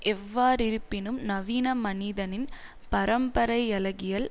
எவ்வாறிருப்பினும் நவீன மனிதனின் பரம்பரையலகியல்